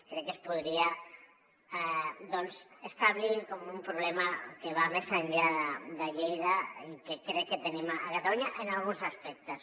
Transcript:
crec que es podria establir com un problema que va més enllà de lleida i que crec que tenim a catalunya en alguns aspectes